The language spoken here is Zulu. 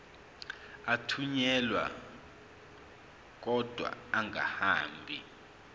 athunyelwa odwa angahambi